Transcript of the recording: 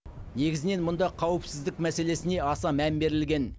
негізінен мұнда қауіпсіздік мәселесіне аса мән берілген